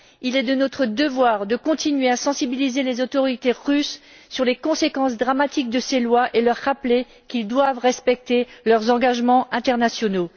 Il est de notre devoir de continuer à sensibiliser les autorités russes aux conséquences dramatiques de ces lois et de leur rappeler qu'elles doivent respecter leurs engagements internationaux.